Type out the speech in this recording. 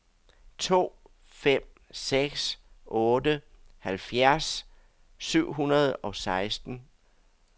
to fem seks otte halvfjerds syv hundrede og seksten